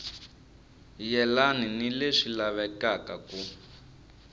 yelani ni leswi lavekaka ku